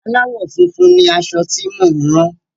Aláwọ̀ funfun ni aṣọ tí mo ń rán.